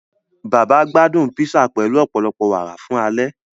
Bàbá gbádún písà pẹlu ọpọlọpọ wàárà fun ale.